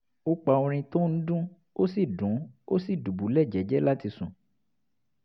ó pa orin tó ń dún ó sì dún ó sì dùbúlẹ̀ jẹ́jẹ́ láti sùn